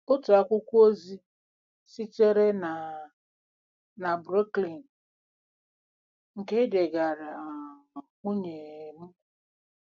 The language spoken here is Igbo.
Otu akwụkwọ ozi sitere na na Brooklyn, nke e degaara um nwunye um m.